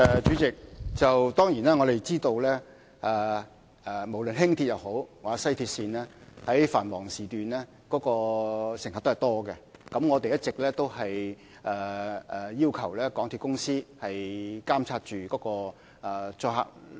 主席，當然，我們知道無論是輕鐵或西鐵線，在繁忙時段，乘客都很多，我們一直要求港鐵公司監察載客率。